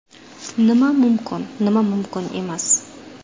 Nima mumkin, nima mumkin emas.